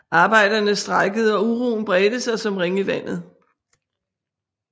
Arbejderne strejkede og uroen bredte sig som ringe i vandet